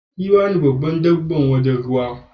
Giwa ne magi babban dabban wajen ruwa.